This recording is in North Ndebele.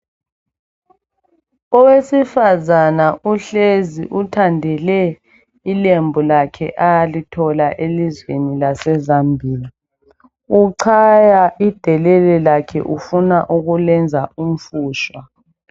Owesifazana uhlezi, uthandele ilembu lakhe alithola elizweni laseZambia, uchaya idelele lakhe ufuna ukulenza umfushwa.